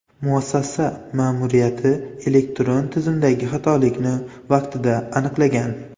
Muassasa ma’muriyati elektron tizimdagi xatolikni vaqtida aniqlagan.